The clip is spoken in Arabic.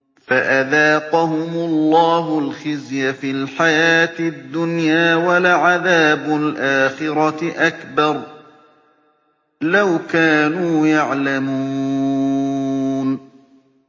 فَأَذَاقَهُمُ اللَّهُ الْخِزْيَ فِي الْحَيَاةِ الدُّنْيَا ۖ وَلَعَذَابُ الْآخِرَةِ أَكْبَرُ ۚ لَوْ كَانُوا يَعْلَمُونَ